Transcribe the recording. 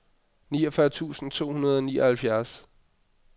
niogfyrre tusind to hundrede og nioghalvfjerds